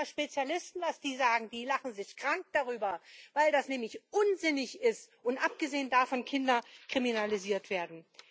Fragen Sie mal Spezialisten, was die sagen die lachen sich krank darüber, weil das nämlich unsinnig ist und abgesehen davon Kinder kriminalisiert werden.